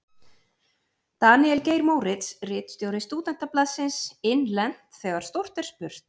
Daníel Geir Moritz, ritstjóri Stúdentablaðsins: Innlent: Þegar stórt er spurt.